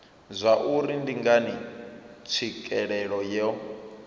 zwauri ndi ngani tswikelelo yo